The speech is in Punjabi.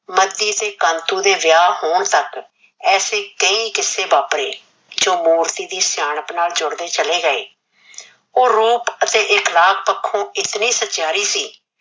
ਮੱਦੀ ਤੇ ਕੰਤੂ ਦੇ ਵਿਆਹ ਹੋਣ ਤੱਕ ਐਸੇ ਕਈ ਕਿੱਸੇ ਜਿਹੜੇ ਵਾਪਰੇ ਜੋ ਮੂਰਤੀ ਦੀ ਸਿਆਣਪ ਨਾਲ ਜੁੜਦੇ ਚਲੇ ਗਏ। ਉਹ ਰੂਪ ਅਤੇ ਇਖਲਾਕ ਪੱਖੋ ਇਤਨੀ ਸਚਿਆਰੀ ਸੀ